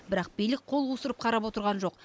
бірақ билік қол қусырып қарап отырған жоқ